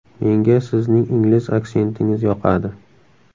Menga sizning ingliz aksentingiz yoqadi.